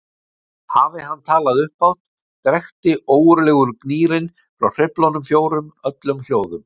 Hafi hann talað upphátt drekkti ógurlegur gnýrinn frá hreyflunum fjórum öllum hljóðum.